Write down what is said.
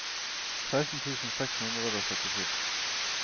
seksten tusen seks hundre og syttisju